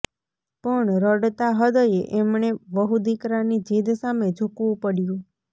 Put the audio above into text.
પણ રડતા હૃદયે એમણે વહુદીકરાની જીદ સામે ઝૂકવું પડ્યું